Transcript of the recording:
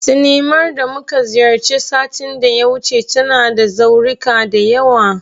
Sinimar da muka ziyarta satin da ya wuce, tana da zaurika da yawa.